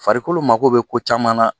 Farikolo mago bɛ ko caman na